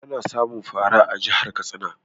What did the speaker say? Ana samun fara a jihar Katsina